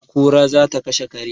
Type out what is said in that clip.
kura za ta kashe kare